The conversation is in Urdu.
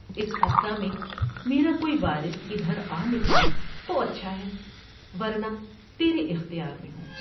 اس عرصہ میں میرا کوئی وارث ادھر آ نکلا تو اچھا ہے ورنہ تیرے اختیار میں ہوں ۔